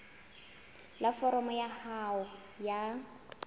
la foromo ya hao ya